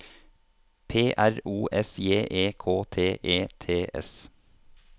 P R O S J E K T E T S